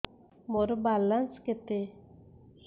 ମୋର ବାଲାନ୍ସ କେତେ